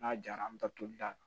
N'a jara an bɛ taa toli da la